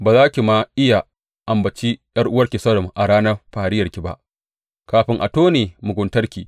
Ba za ki ma iya ambaci ’yar’uwarki Sodom a ranar fariyarki ba, kafin a tone muguntarki.